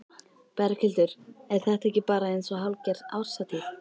Berghildur: Er þetta ekki bara eins og hálfgerð árshátíð?